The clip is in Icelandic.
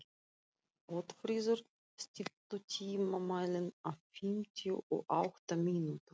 Oddfríður, stilltu tímamælinn á fimmtíu og átta mínútur.